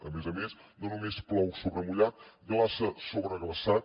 a més a més no només plou sobre mullat glaça sobre glaçat